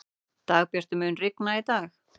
Dagbjartur, mun rigna í dag?